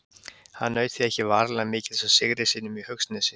Hann naut því ekki varanlega mikils af sigri sínum í Haugsnesi.